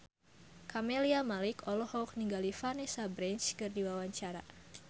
Camelia Malik olohok ningali Vanessa Branch keur diwawancara